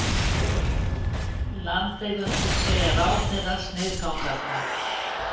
Landeigendur segja ráðherra sniðganga þá